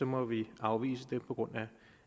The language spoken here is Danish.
må vi afvise det på grund